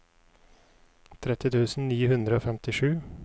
tretti tusen ni hundre og femtisju